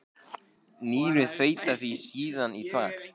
Nýrun þveita því síðan í þvag.